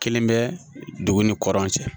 Kelen bɛ dugu ni kɔrɔn cɛ